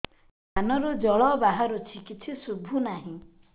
କାନରୁ ଜଳ ବାହାରୁଛି କିଛି ଶୁଭୁ ନାହିଁ